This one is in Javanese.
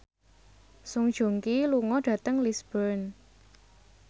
Song Joong Ki lunga dhateng Lisburn